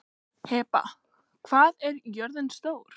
Heba, hvað er jörðin stór?